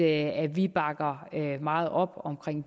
at vi bakker meget op om